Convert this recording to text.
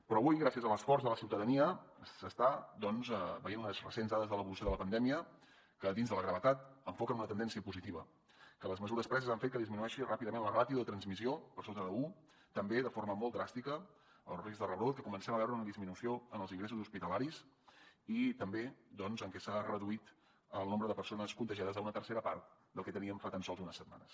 però avui gràcies a l’esforç de la ciutadania s’estan veient unes recents dades de l’evolució de la pandèmia que dins de la gravetat enfoquen una tendència positiva que les mesures preses han fet que disminueixi ràpidament la ràtio de transmissió per sota d’un també de forma molt dràstica el risc de rebrot que comencem a veure una disminució en els ingressos hospitalaris i també doncs en què s’ha reduït el nombre de persones contagiades a una tercera part del que teníem fa tan sols unes setmanes